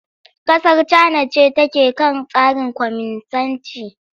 Kasar Cana ce take kan tsarin kwaminisanci.